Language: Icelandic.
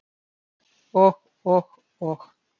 """Og, og, og."""